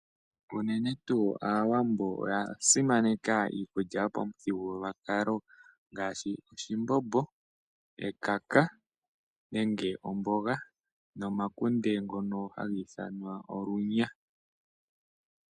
Unene tuu Aawambo oya simaneka iimulya yo pamuthigululwakalo ngaasbi oshimbombo, ekaka nenge omboga nomakunde ngono haga ithanwa olunya.